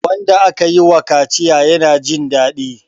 wanda aka yiwa kaciya yana Jin dadi